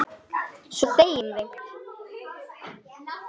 Svo þegjum við.